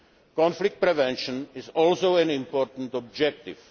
Conflict prevention is also an important objective.